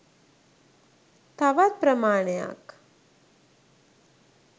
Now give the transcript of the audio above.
තවත් ප්‍රමාණයක්